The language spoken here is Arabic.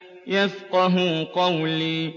يَفْقَهُوا قَوْلِي